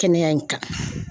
Kɛnɛya in kan.